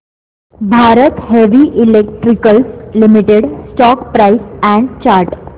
Bharat heavy electricals limited stock price and chart